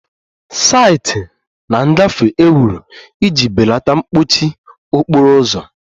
Site na ngafe e wuru iji belata mkpọchi okporo ụzọ